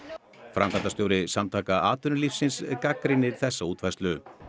framkvæmdastjóri Samtaka atvinnulífsins gagnrýnir þessa útfærslu